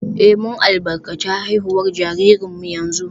Eh, mun albarkaci haihuwar jaririnmu yanzu